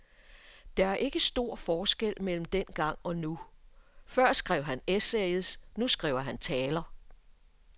Der er ikke stor forskel mellem dengang og nu, før skrev han essays, nu skriver han taler.